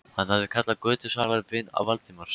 Hann hafði kallað götusalann vin Valdimars.